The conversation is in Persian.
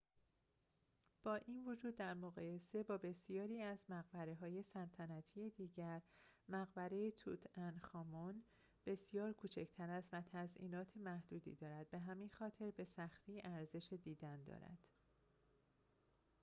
با این وجود در مقایسه با بسیاری از مقبره‌های سلطنتی دیگر مقبره توت‌عنخ‌آمون بسیار کوچک‌تر است و تزئینات محدودی دارد به همین خاطر به سختی ارزش دیدن دارد